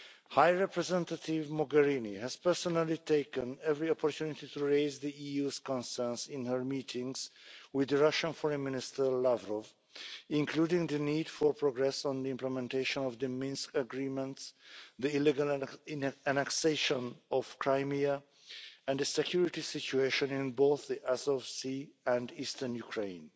High Representative Mogherini has personally taken every opportunity to raise the EU's concerns in her meetings with Russian Foreign Minister Lavrov, including the need for progress on the implementation of the Minsk Agreements, the illegal annexation of Crimea and the security situation in both the Sea of Azov and eastern Ukraine.